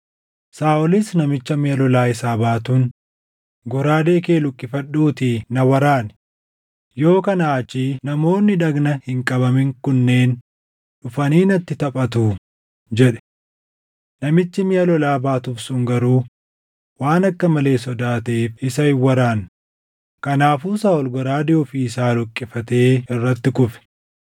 Saaʼolis namicha miʼa lolaa isaa baatuun, “Goraadee kee luqqifadhuutii na waraani; yoo kanaa achii namoonni dhagna hin qabamin kunneen dhufanii natti taphatuu” jedhe. Namichi miʼa lolaa baatuuf sun garuu waan akka malee sodaateef isa hin waraanne; kanaafuu Saaʼol goraadee ofii isaa luqqifatee irratti kufe.